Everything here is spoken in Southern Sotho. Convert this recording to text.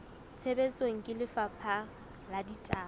tshebetsong ke lefapha la ditaba